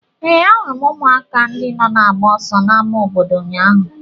Ee, ahụrụ m ụmụaka ndị nọ na-agba ọsọ n'ámá obodo ụnyaahụ.